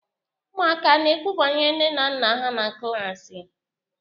Ụmụaka ana-ekwu banyere nne na nna ha na klaasị?